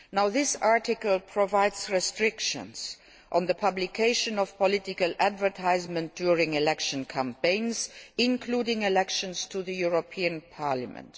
This article provides for restrictions on the publication of political advertisements during election campaigns, including elections to the European Parliament.